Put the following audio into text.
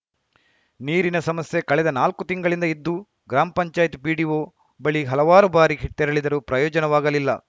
ನೀರಿನ ಸಮಸ್ಯೆ ಕಳೆದ ನಾಲ್ಕು ತಿಂಗಳಿಂದ್ದ ಇದ್ದು ಗ್ರಾಮ ಪಂಚಾಯತ್ ಪಿಡಿಒ ಬಳಿ ಹಲವಾರು ಬಾರಿ ತೆರೆಳಿದರೂ ಪ್ರಯೋಜನವಾಗಲಿಲ್ಲ